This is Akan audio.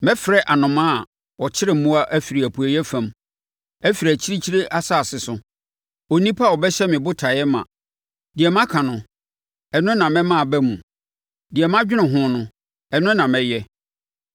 Mɛfrɛ anomaa a ɔkyere mmoa afiri apueeɛ fam; afiri akyirikyiri asase so, onipa a ɔbɛhyɛ me botaeɛ ma. Deɛ maka no, ɛno na mɛma aba mu; deɛ madwene ho no, ɛno na mɛyɛ.